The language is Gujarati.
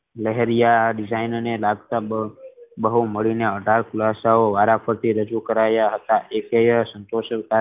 લહેરિયા design લગતા બહુ ભાષાવો વારાફર્તી રજુ કરાયા હતા